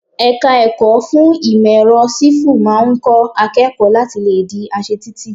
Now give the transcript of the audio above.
Ẹ̀ka ẹ̀kọ́ fún ìmò èrọ Sífù máa ń kọ́ akẹ́kọ̀ọ́ láti le di aṣe títì.